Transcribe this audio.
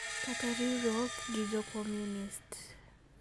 kata riwruok gi jo Komunist.